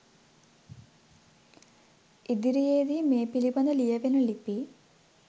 ඉදිරියේදී මේ පිළිබඳ ලියවෙන ලිපි